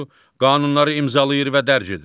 Qanunları imzalayır və dərc edir.